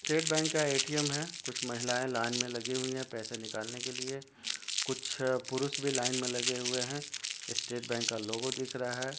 State bank का A .T. M. हैं कुछ महिलाएं लाइन में लगी हुई है पैसे निकलने के लिए कुछ पुरुष भी लाइन में लगे है स्टेट बैंक का लोगो दिख रहा है।